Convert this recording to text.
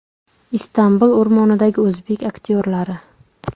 Istanbul o‘rmonidagi o‘zbek aktyorlari.